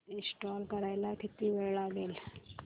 install करायला किती वेळ लागेल